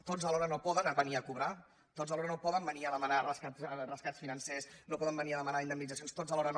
tots alhora no poden venir a cobrar tots alhora no poden venir a demanar rescats financers no poden venir a demanar indemnitzacions tots alhora no